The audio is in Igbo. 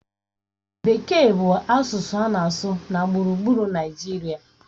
Bekee bụ asụsụ a na-asụ na gburugburu Naịjirịa.